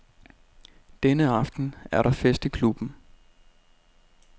Denne aften er der fest i klubben.